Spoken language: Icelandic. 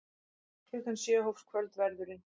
Klukkan sjö hófst kvöldverðurinn.